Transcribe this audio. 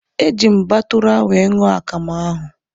Eji m batụra wee ṅụọ akamụ ahụ